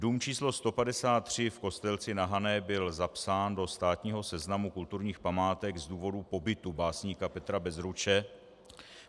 Dům číslo 153 v Kostelci na Hané byl zapsán do státního seznamu kulturních památek z důvodu pobytu básníka Petra Bezruče.